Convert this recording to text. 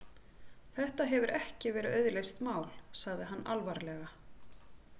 Þetta hefur ekki verið auðleyst mál, sagði hann alvarlega.